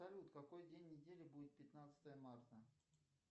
салют какой день недели будет пятнадцатое марта